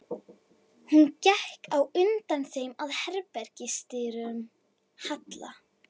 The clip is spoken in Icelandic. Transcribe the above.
Hún gekk á undan þeim að herbergis- dyrum Halla.